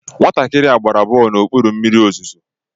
Nwatakịrị a gbara bọọlụ n'okpuru mmiri ozuzo